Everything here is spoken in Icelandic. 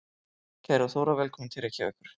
Kæra Þóra. Velkomin til Reykjavíkur.